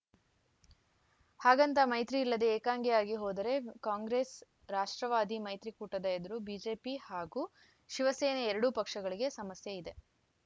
ಹಾಗಂತ ಮೈತ್ರಿ ಇಲ್ಲದೆ ಏಕಾಂಗಿಯಾಗಿ ಹೋದರೆ ಕಾಂಗ್ರೆಸ್‌ ರಾಷ್ಟ್ರವಾದಿ ಮೈತ್ರಿಕೂಟದ ಎದುರು ಬಿಜೆಪಿ ಹಾಗೂ ಶಿವಸೇನೆ ಎರಡೂ ಪಕ್ಷಗಳಿಗೆ ಸಮಸ್ಯೆಯಿದೆ